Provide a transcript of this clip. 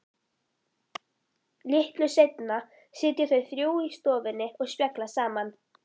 Litlu seinna sitja þau þrjú í stofunni og spjalla saman.